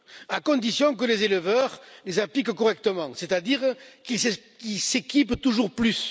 À condition que les éleveurs les appliquent correctement, c'est à dire qu'ils s'équipent toujours plus.